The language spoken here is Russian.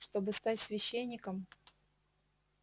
чтобы стать священником